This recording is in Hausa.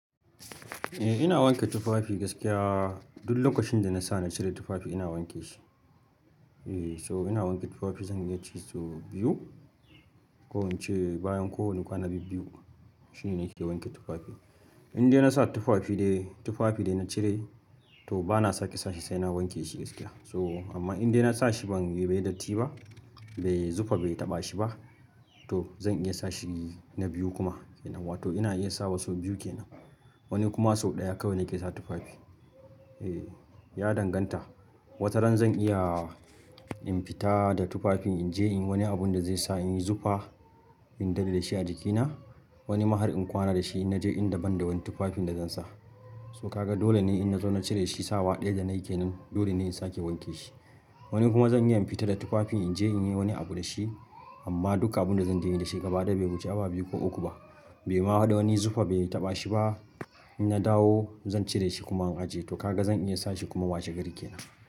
Eh ina wanke tufafi gaskiya duk lokacinda nasa na cire tufafi ina wanke shi. Eh so ina wanke tufafi zan iya ce so biyu ko ince bayan kowane kwana biyu shine nake wanke tufafi. Inde nasa tufafi dai tufafi dai na cire to bana sake sashi sai na wanke shi gaskiya. So amma inda nasa shi ban yi bai datti ba bai zufa bai taɓa shi ba to zan iya sa shi na biyu kuma yana wato ina iya sawa so biyu kenan. Wani kuma sau ɗaya kawai nake sa tufafi. Eh ya danganta wasu ran zan iya in fita da tufafin inje inyi wani abunda zai sa inyi zufa in dade dashi a jikina wani ma har in kwana da shi in naje inda banda wani tufafin da zan sa. To kaga dole ne in nazo na cire shi sawa ɗaya da na yake nan dole ne in sake wanke shi. Wani kuma zan iya in fita da tufafin in je in yi wani abu da shi amma duk abunda zanje inyi dashi gabaɗaya bai wuce awa biyu ko uku ba. Bai ma haɗu wani zufa bai taɓa shi ba in na dawo zan cire shi kuma in ajiye. To kaga zan iya sashi kuma washe gari kenan.